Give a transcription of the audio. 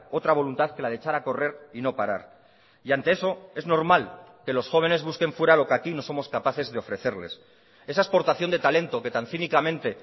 otra voluntad que la de echar a correr y no parar y ante eso es normal que los jóvenes busquen fuera lo que aquí no somos capaces de ofrecerles esa exportación de talento que tan cínicamente